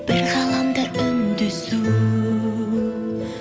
бір ғаламда үндесу